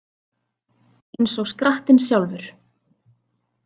Eins og skrattinn sjálfur